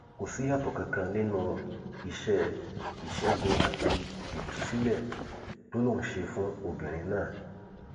kò síyàtọ kankan nínú iṣẹ ìṣègùn àti ìtúsílẹ tó lóun ṣe fún obìnrin náà